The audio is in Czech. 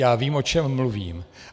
Já vím, o čem mluvím.